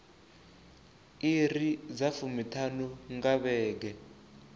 iri dza fumiṱhanu nga vhege